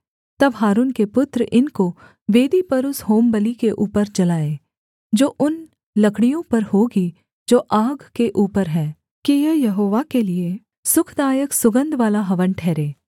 तब हारून के पुत्र इनको वेदी पर उस होमबलि के ऊपर जलाएँ जो उन लकड़ियों पर होगी जो आग के ऊपर है कि यह यहोवा के लिये सुखदायक सुगन्धवाला हवन ठहरे